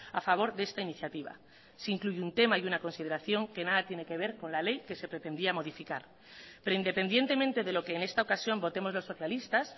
a favor de esta iniciativa se incluye un tema y una consideración que nada tiene que ver con la ley que se pretendía modificar pero independientemente de lo que en esta ocasión votemos los socialistas